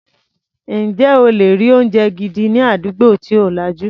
Ǹjẹ́ o lè rí oúnjẹ gidi ní àdúgbò tí ò lajú.